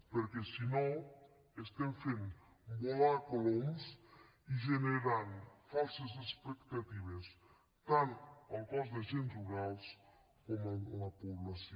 perquè si no estem fent volar coloms i generant falses expectatives tant al cos d’agents rurals com a la població